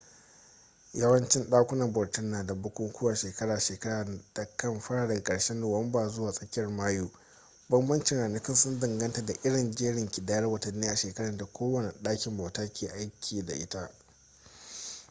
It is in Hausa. yawancin dakunan bautar na da bukukuwan shekara-shekara da kan fara daga ƙarshen nuwamba zuwa tsakiyar mayu bambancin ranakun sun danganta da irin jerin kidayar watanni a shekarar da kowane ɗakin bauta ke aiki da ita